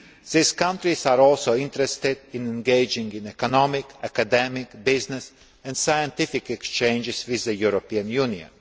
These countries are also interested in engaging in economic, academic, business and scientific exchanges with the European Union.